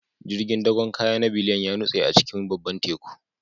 Jirgin dakon kaya na Biliyan ya nutse a cikin babban Teku